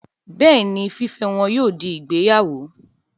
Bẹ́ẹ̀ni, fífẹ́ wọn yóò di ìgbéyàwó